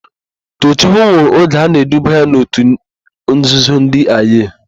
Toochukwu nwụrụ oge a na-eduba ya n'òtù nzuzo ndị Eye.